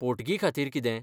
पोटगी खातीर कितें?